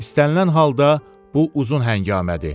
İstənilən halda bu uzun həngamədir.